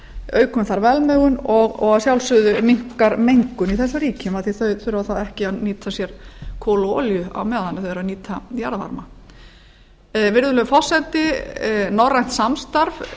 aukum þar velmegun og að sjálfsögðu minnkar mengun í þessum ríkjum af því að þau þurfa þá ekki að nýta sér kol og olíu á meðan þau eru að nýta jarðvarma virðulegur forseti norrænt samstarf